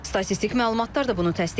Statistik məlumatlar da bunu təsdiqləyir.